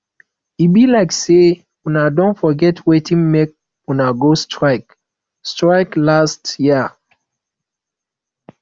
e be like sey una don forget wetin make una go strike strike last year